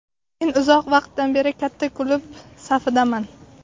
Men uzoq vaqtdan beri katta klub safidaman.